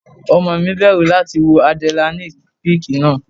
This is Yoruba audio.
Ọmọ mi bẹ̀rù láti wọ Adrenaline peak náà.